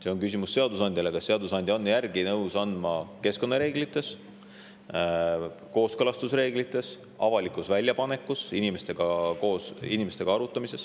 See on küsimus seadusandjale: kas seadusandja on nõus järgi andma keskkonnareeglites, kooskõlastusreeglites, avalikus väljapanekus, inimestega arutamises.